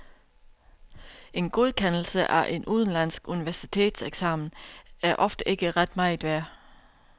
En godkendelse af en udenlandsk universitetseksamen er ofte ikke ret meget værd.